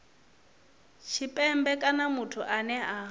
tshipembe kana muthu ane a